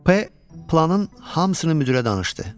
P planın hamısını müdirə danışdı.